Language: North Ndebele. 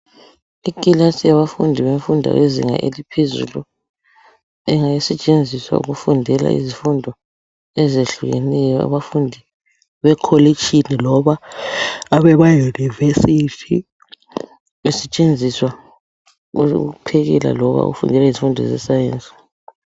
Ikilasi yabafundi bemfundo yezinga eliphezulu ingasetshenziswa ukufundela izifundo eziyehlukeneyo ,abafundi bekholitshini loba abema University ,besetshenziswa ukuphekela loba izifundo ze Science.